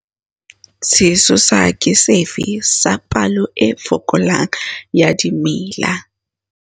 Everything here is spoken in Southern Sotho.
Sesosa ke sefe sa palo e fokolang ya dimela?